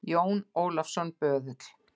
JÓN ÓLAFSSON, BÖÐULL